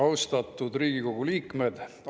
Austatud Riigikogu liikmed!